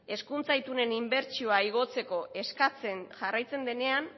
hezkuntza itunen inbertsioa igotzeko eskatzen jarraitzen denean